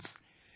Friends,